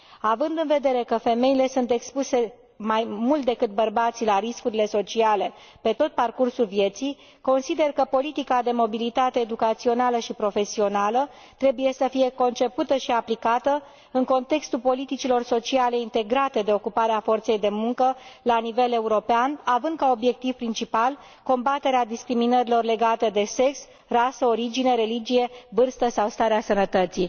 Având în vedere că femeile sunt expuse mai mult decât bărbații la riscurile sociale pe tot parcursul vieții, consider că politica de mobilitate educațională și profesională trebuie să fie concepută și aplicată în contextul politicilor sociale integrate de ocupare a forței de muncă la nivel european, având ca obiectiv principal combaterea discriminărilor legate de sex, rasă, origine, religie, vârstă sau starea sănătății.